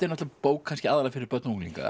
bók aðallega fyrir börn og unglinga